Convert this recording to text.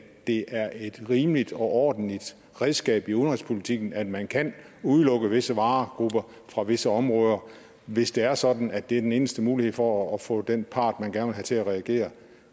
det er et rimeligt og ordentligt redskab i udenrigspolitikken at man kan udelukke visse varegrupper fra visse områder hvis det er sådan at det er den eneste mulighed for at få den part man gerne vil have til at reagere